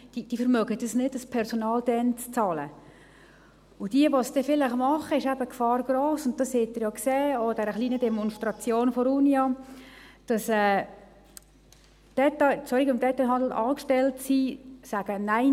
Diese vermögen es nicht, das Personal dann zu bezahlen, und für jene, die es dann vielleicht tun, ist die Gefahr gross – und das haben Sie ja auch an der kleinen Demonstration der Unia gesehen –, dass Leute, die im Detailhandel angestellt sind, sagen: «